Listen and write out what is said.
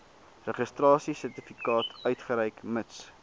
registrasiesertifikaat uitreik mits